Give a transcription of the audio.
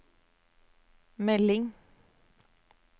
melding